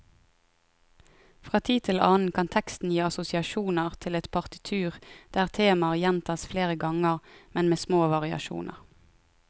Fra tid til annen kan teksten gi assosiasjoner til et partitur der temaer gjentas flere ganger, men med små variasjoner.